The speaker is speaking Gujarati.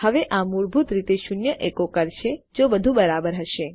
હવે આ મૂળભૂત રીતે શૂન્ય એકો કરશે જો બધું બરાબર હશે